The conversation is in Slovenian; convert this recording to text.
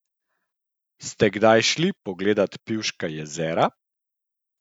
Ste kdaj šli pogledat Pivška jezera?